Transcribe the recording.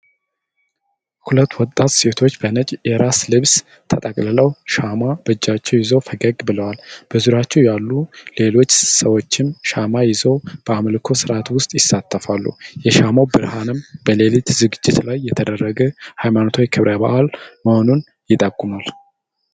ሁለት ወጣት ሴቶች በነጭ የራስ ልብስ ተጠቅልለው ሻማ በእጃቸው ይዘው ፈገግ ብለዋል። በዙሪያቸው ያሉ ሌሎች ሰዎችም ሻማ ይዘው በአምልኮ ሥርዓት ውስጥ ይሳተፋሉ። የሻማው ብርሃን በሌሊት ዝግጅት ላይ የተደረገ ሃይማኖታዊ ክብረ በዓል መሆኑን ይጠቁማል።